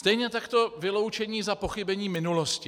Stejně tak vyloučení za pochybení minulosti.